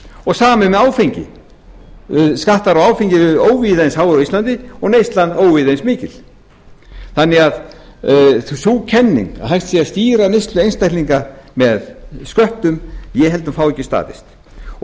og sama er með áfengi skattar á áfengi eru óvíða eins háir og á íslandi og neyslan óvíða eins mikið sú kenning því að hægt sé að stýra neyslu einstaklinga með sköttum ég held að hún fái ekki staðist